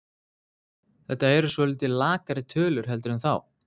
Þetta eru svolítið lakari tölur heldur en þá?